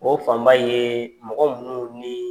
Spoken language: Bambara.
O fanba ye mɔgɔ munun ni